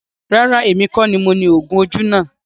Rárá, èmi kọ ní mo ní ọ̀kadà náà.